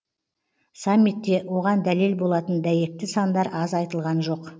саммитте оған дәлел болатын дәйекті сандар аз айтылған жоқ